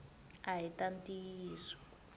ahi ta ntiyiso